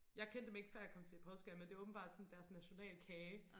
Jeg kendte dem ikke for jeg kom til Portugal men det åbenbart sådan deres nationalkage